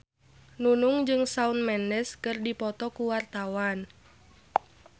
Nunung jeung Shawn Mendes keur dipoto ku wartawan